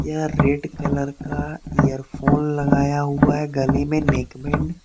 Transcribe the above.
यह red colour का earphone लगाया हुआ है गले में नेकबैंड ।